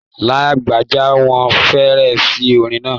Lágbájá fọn feèrè sí orin náà.